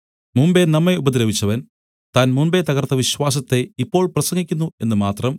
മുമ്പെ നമ്മെ ഉപദ്രവിച്ചവൻ താൻ മുമ്പെ തകർത്ത വിശ്വാസത്തെ ഇപ്പോൾ പ്രസംഗിക്കുന്നു എന്ന് മാത്രം